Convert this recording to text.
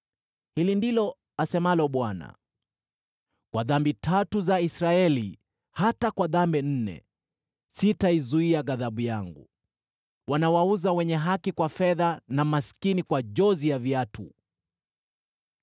Hili ndilo asemalo Bwana : “Kwa dhambi tatu za Israeli, hata kwa dhambi nne, sitaizuia ghadhabu yangu. Wanawauza wenye haki kwa fedha, na maskini kwa jozi ya viatu.